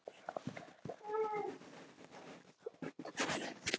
Svo gekk hann á dyr.